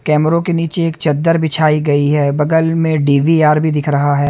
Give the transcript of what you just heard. कैमरों के नीचे एक चद्दर बिछाई गई है बगल में डी _बी _आर भी दिख रहा है।